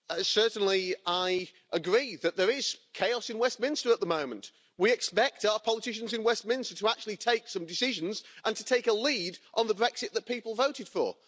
Certainly I agree that there is chaos in Westminster at the moment, we expect our politicians in Westminster to actually take some decisions and to take a lead on the Brexit that people voted for.